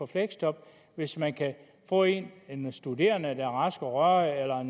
fleksjob hvis man kan få en en studerende der er rask og rørig